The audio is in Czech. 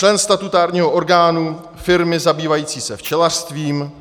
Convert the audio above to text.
Člen statutárního orgánu firmy zabývající se včelařstvím